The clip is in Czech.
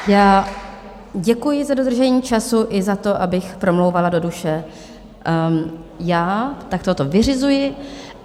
Já děkuji za dodržení času i za to, abych promlouvala do duše, já takto to vyřizuji.